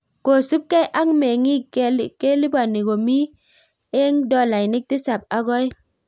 Kosuup gei ak mengik kelipani komi eng dolainik tisap ak oeng